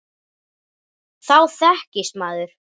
Þá þekkist maður.